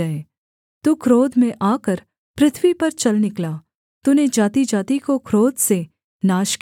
तू क्रोध में आकर पृथ्वी पर चल निकला तूने जातिजाति को क्रोध से नाश किया